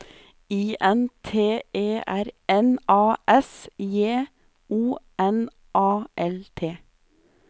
I N T E R N A S J O N A L T